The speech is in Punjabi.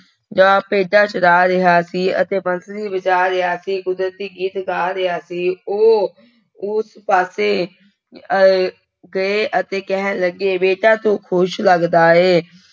ਡਾ ਭੇਡਾਂ ਚਰਾ ਰਿਹਾ ਸੀ ਅਤੇ ਬੰਸਰੀ ਵਜਾ ਰਿਹਾ ਸੀ, ਕੁਦਰਤੀ ਗੀਤ ਗਾ ਰਿਹਾ ਸੀ, ਉਹ ਉਸ ਪਾਸੇ ਅਹ ਗਏ ਅਤੇ ਕਹਿਣ ਲੱਗੇ, ਬੇਟਾ ਤੂੰ ਖ਼ੁਸ਼ ਲੱਗਦਾ ਹੈ।